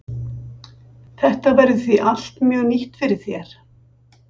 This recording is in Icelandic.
Þetta verður því allt mjög nýtt fyrir þér?